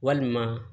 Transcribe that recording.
Walima